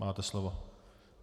Máte slovo.